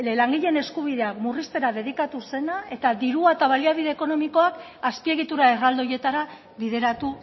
langileen eskubideak murriztera dedikatu zena eta dirua eta baliabide ekonomikoak azpiegitura erraldoietara bideratu